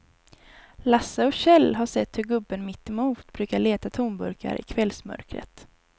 Lasse och Kjell har sett hur gubben mittemot brukar leta tomburkar i kvällsmörkret.